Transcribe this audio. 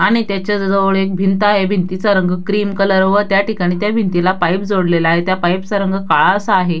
आणि त्याच्या जवळ एक भिंत आहे भिंतीचा रंग क्रीम कलर व त्या ठिकाणी त्या भिंतीला पाइप जोडलेला आहे त्या पाइप चा रंग काळा असा आहे.